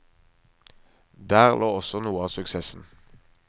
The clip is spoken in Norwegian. Der lå også noe av suksessen.